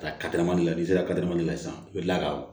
Ka kadɛrɛ n'i sera ka kateli san i bɛ kila ka